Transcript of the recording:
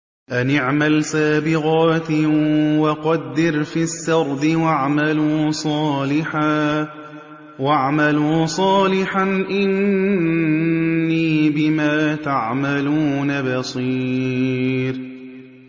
أَنِ اعْمَلْ سَابِغَاتٍ وَقَدِّرْ فِي السَّرْدِ ۖ وَاعْمَلُوا صَالِحًا ۖ إِنِّي بِمَا تَعْمَلُونَ بَصِيرٌ